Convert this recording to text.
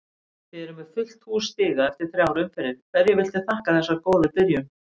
Þið eruð með fullt hús stiga eftir þrjár umferðir, hverju viltu þakka þessa góðu byrjun?